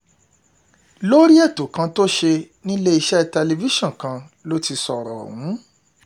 lórí ètò kan tó ṣe níléeṣẹ́ tẹlifíṣọ̀n kan ló ti sọ̀rọ̀ ọ̀hún